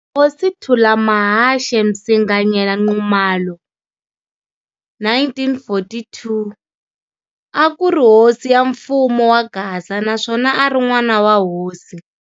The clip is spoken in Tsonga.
Hosi Thulamahashe Msinganyela Nxumalo, 1942, a kuri hosi ya mfumo wa Gaza, naswona ari n'wana wa hosi.